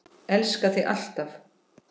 Elska þig alltaf.